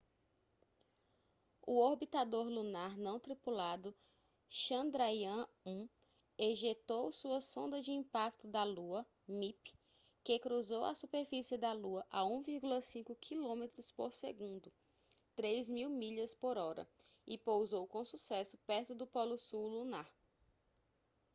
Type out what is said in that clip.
o orbitador lunar não tripulado chandrayaan-1 ejetou sua sonda de impacto da lua mip que cruzou a superfície da lua a 1,5 km por segundo 3 mil milhas por hora e pousou com sucesso perto do polo sul lunar